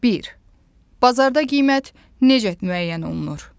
Bir: Bazarda qiymət necə müəyyən olunur?